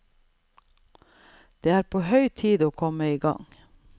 Det er på høy tid å komme i gang.